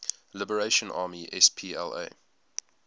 liberation army spla